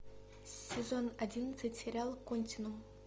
сезон одиннадцать сериал континуум